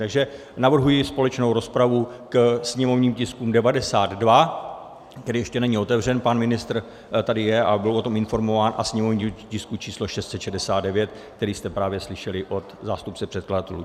Takže navrhuji společnou rozpravu k sněmovním tiskům 92, který ještě není otevřen, pan ministr tady je a byl o tom informován, a sněmovního tisku číslo 669, který jste právě slyšeli od zástupce předkladatelů.